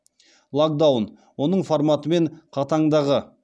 локдаун оның форматы мен қатаңдағы